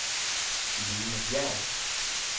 Lene Bjerg